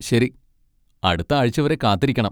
ശരി, അടുത്ത ആഴ്ച വരെ കാത്തിരിക്കണം.